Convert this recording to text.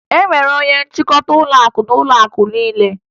E nwere onye nchịkọta ụlọakụ n'ụlọakụ niile